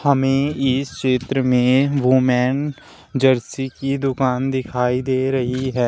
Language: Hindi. हमे इस चित्र में वूमेन जर्सी की दुकान दिखाई दे रही है।